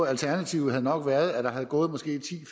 alternativet nok været at der var gået måske ti